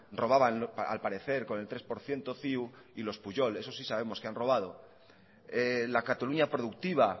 robaban al parecer con el tres por ciento ciu y los pujol eso si sabemos que han robado la cataluña productiva